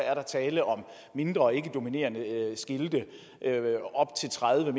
er tale om mindre og ikke dominerende skilte op til tredive